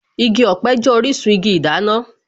Igi ọ̀pẹ jẹ́ orísun igi ìdáná